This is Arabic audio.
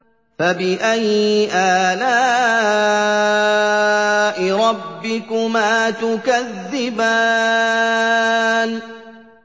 فَبِأَيِّ آلَاءِ رَبِّكُمَا تُكَذِّبَانِ